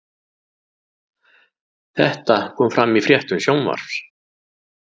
Þetta kom fram í fréttum Sjónvarps